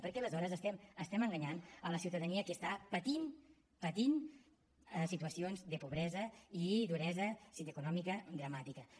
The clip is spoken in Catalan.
perquè aleshores estem enganyant la ciutadania que està patint patint situacions de pobresa i duresa econòmica dramàtiques